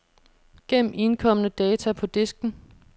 Gem indkomne data på disken.